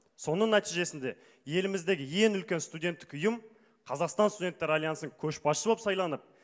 соның нәтижесінде еліміздегі ең үлкен студенттік ұйым қазақстан студенттер альянсы көшбасшы боп сайланып